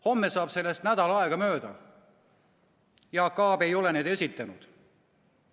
Homme saab sellest nädal aega mööda, Jaak Aab ei ole neid esitanud.